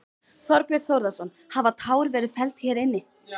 Þorbjörn Þórðarson: Hafa tár verið felld hér inni?